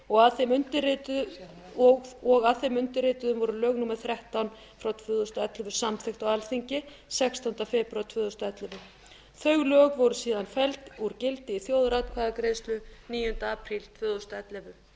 og tíu og að þeim undirrituðum voru lög númer þrettán tvö þúsund og ellefu samþykkt á alþingi sextánda febrúar tvö þúsund og ellefu þau lög voru síðan felld úr gildi í þjóðaratkvæðagreiðslu níunda apríl tvö þúsund og ellefu